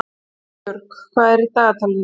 Arnbjörg, hvað er í dagatalinu mínu í dag?